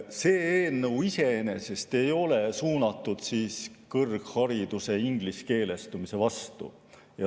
See eelnõu iseenesest ei ole suunatud kõrghariduse ingliskeelestumise vastu.